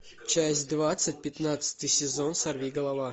часть двадцать пятнадцатый сезон сорвиголова